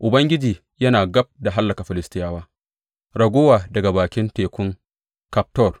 Ubangiji yana gab da hallaka Filistiyawa, raguwa daga bakin tekun Kaftor.